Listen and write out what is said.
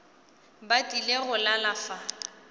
ba tlile go lala fa